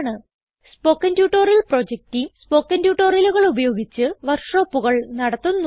spoken tutorial project team spoken ട്യൂട്ടോറിയലുകൾ ഉപയോഗിച്ച് വർക്ക് ഷോപ്പുകൾ നടത്തുന്നു